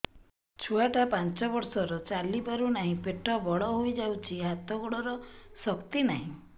ଛୁଆଟା ପାଞ୍ଚ ବର୍ଷର ଚାଲି ପାରୁନାହଁ ପେଟ ବଡ ହୋଇ ଯାଉଛି ହାତ ଗୋଡ଼ର ଶକ୍ତି ନାହିଁ